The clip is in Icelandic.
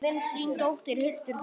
Þín dóttir, Hildur Þóra.